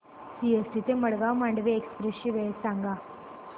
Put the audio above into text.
CST ते Madgaon Mandovi express ची वेळ सांगा